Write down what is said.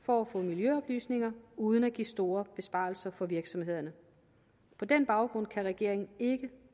for at få miljøoplysninger uden at give store besparelser for virksomhederne på den baggrund kan regeringen ikke